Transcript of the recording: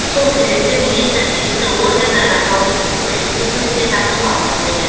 сол себепті министр тиісті органдарға қауіпсіздікті күшейту жөнінде тапсырмалар берді